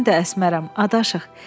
Mən də Əsmərəm, adaşıq.